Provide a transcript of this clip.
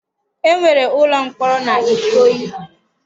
E nwere ụlọ mkpọrọ n'Ikoyi.